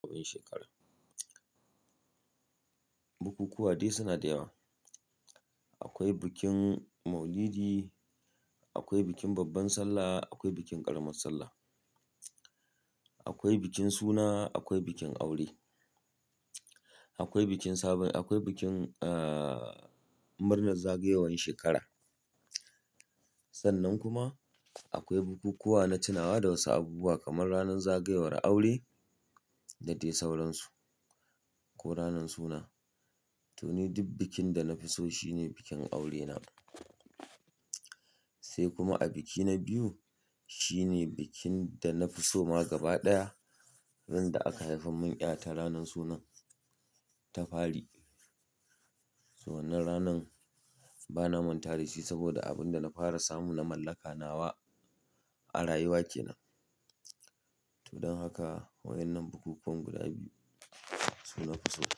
Bukukuwa dai suna da yawa. Akwai bikin maulidi, akwai bikin babban sallah, akwai bikin ƙaramar sallah, akwai bikin suna, akwai bikin aure, akwai bikin sabin, akwai bikin aaah murnar zagayowar shekara. Sannan kuma akwai bukukuwa na tunawa da wasu abubuwa kamar ranar zagayowar aure da dai sauransu ko ranan suna. To ni duk bikin da na fi so shine bikin aurena. Sai kuma a biki na biyu shine bikin da na fi so ma gaba ɗaya, inda aka haifi mun ƴa ta ranan sunan Tafari. To wannan ranan bana mantawa dashi saboda abin da na fara samu na mallaka nawa a rayuwa kenan. To don haka waƴannan bukukuwan guda biyu su na fi so.